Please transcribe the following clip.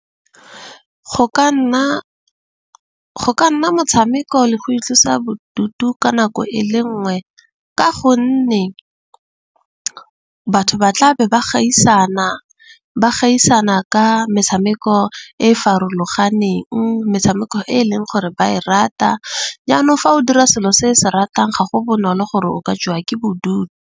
Go ka nna motshameko le go itlosa bodutu ka nako e le nngwe. Ka gonne batho ba tla be ba gaisana, ba gaisana ka metshameko e e farologaneng. Metshameko e e leng gore ba e rata. Jaanong fa o dira selo se se ratang ga go bonolo gore o ka jewa ke .